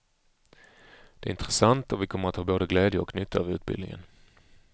Det är intressant, och vi kommer att ha både glädje och nytta av utbildningen.